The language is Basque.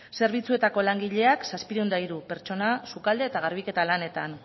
zerbitzuetako langileak zazpiehun eta hiru pertsona sukalde eta garbiketa lanetan